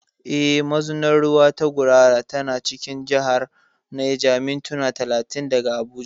Eh, Mazunar ruwa ta Gurara tana cikin jihar Neja, mintuna talatin daga Abuja.